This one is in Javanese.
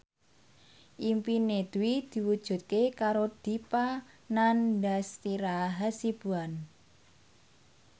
impine Dwi diwujudke karo Dipa Nandastyra Hasibuan